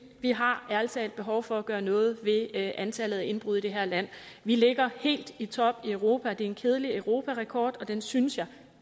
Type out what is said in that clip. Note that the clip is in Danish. vi har ærlig talt behov for at gøre noget ved antallet af indbrud i det her land vi ligger helt i top i europa det er en kedelig europarekord og den synes jeg